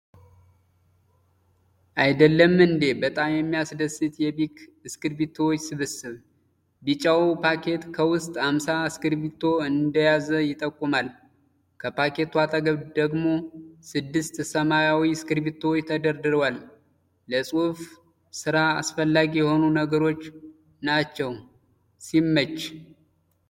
አይደለም እንዴ! በጣም የሚያስደስት የቢክ እስክሪብቶዎች ስብስብ። ቢጫው ፓኬት ከውስጥ አምሳ እስክሪብቶ እንደያዘ ይጠቁማል። ከፓኬቱ አጠገብ ደግሞ ስድስት ሰማያዊ እስክሪብቶዎች ተደርድረዋል። ለጽሁፍ ሥራ አስፈላጊ የሆኑ ነገሮች ናቸው። ሲመች!